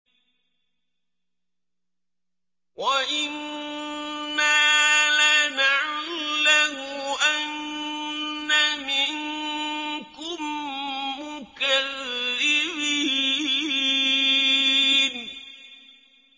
وَإِنَّا لَنَعْلَمُ أَنَّ مِنكُم مُّكَذِّبِينَ